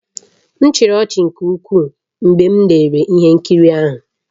M chịrị ọchị nke ukwuu mgbe m lere ihe nkiri ahụ